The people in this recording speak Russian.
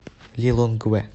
лилонгве